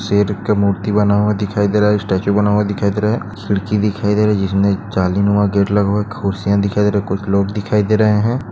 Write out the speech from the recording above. शेर का मूर्ति बना हुआ दिखाई दे रही है स्टाचू बना हुआ दिखाई दे रही है खीडकी दिखाई दे रही है जिसमें जालीन वहा गेट लगा हुआ है कुर्सिया दिखाई दे रही ह कुछ लोग दिखाई दे रहे है।